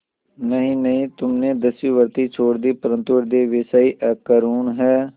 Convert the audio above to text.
नहीं नहीं तुमने दस्युवृत्ति छोड़ दी परंतु हृदय वैसा ही अकरूण